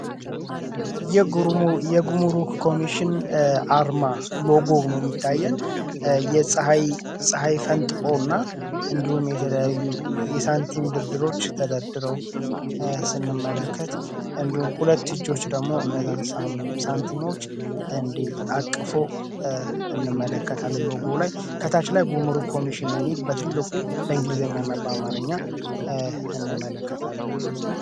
የጉሙሩክ ኮሚሽን አርማ ሎጎውኖ ሚታየን የፀሐይ ፈንጥቆ እና እንዲም የተለያዩ የሳንቲም ድርድሮች ተደርድረው ስንመለከት እንዲሁም ሁለት እጆች ደግሞ እነዛን ሳንቲሞች እንዲ አቅፎ እንመለከታለ ሎጎ ላይ ከታች ላይ ጉሙሩክ ኮሚሽን የሚል በትልቁ በእንግሊዘኛ ና አማረኛ እንመለከታለን።